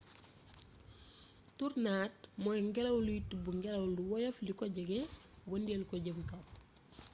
tornade mooy ngelaw luy tibb ngelaw lu woyof li ko jege wëndeel ko jëme kaw